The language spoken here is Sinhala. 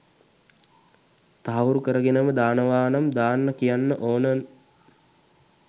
තහවුරු කරගෙනම දානවනම් දාන්න කියන්න ඕන.න්